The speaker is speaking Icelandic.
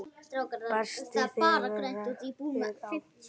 Birtist þegar rakt er á.